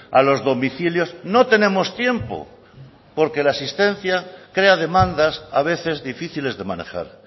a los domicilios no tenemos tiempo porque la asistencia crea demandas a veces difíciles de manejar